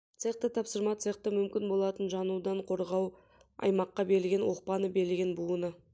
цехта тапсырма цехты мүмкін болатын жанудан қорғау аймаққа берілген оқпаны берілген буыны